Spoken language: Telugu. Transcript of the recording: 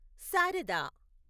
శారదా